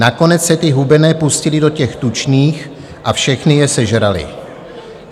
Nakonec se ty hubené pustily do těch tučných a všechny je sežraly.